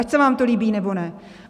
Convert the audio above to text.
Ať se vám to líbí, nebo ne.